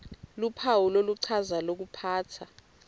luphawu loluchaza lokuphatsa